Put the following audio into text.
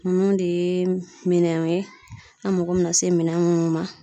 Nunnu de ye minɛnw ye, an mako be na se minɛn munnu ma.